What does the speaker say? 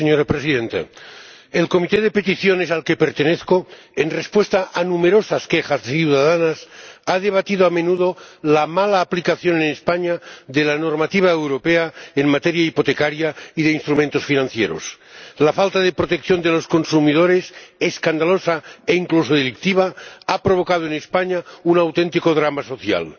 Señora Presidenta, la Comisión de Peticiones a la que pertenezco, en respuesta a numerosas quejas ciudadanas, ha debatido a menudo la mala aplicación en España de la normativa europea en materia hipotecaria y de instrumentos financieros. La falta de protección de los consumidores, escandalosa e incluso delictiva, ha provocado en España un auténtico drama social.